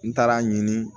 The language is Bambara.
N taara a ɲini